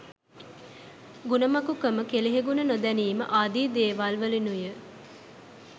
ගුණමකුකම කෙලෙහිගුණ නොදැනීම ආදී දේවල්වලිනුයි.